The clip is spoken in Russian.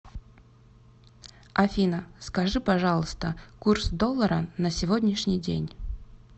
афина скажи пожалуйста курс доллара на сегодняшний день